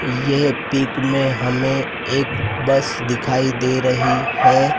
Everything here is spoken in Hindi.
यह पिक में हमें एक बस दिखाई दे रही है।